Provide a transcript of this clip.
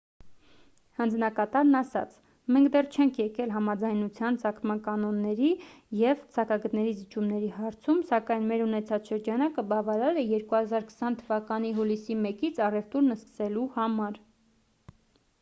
հանձնակատարն ասաց մենք դեռ չենք եկել համաձայնության ծագման կանոնների և սակագների զիջումների հարցում սակայն մեր ունեցած շրջանակը բավարար է 2020 թվականի հուլիսի 1-ից առևտուրն սկսելու համար